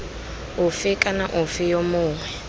ofe kana ofe yo mongwe